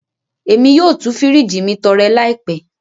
Emi yoo tú firiji mi torẹ laipẹ.